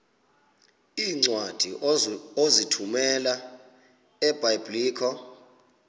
iincwadi ozithumela ebiblecor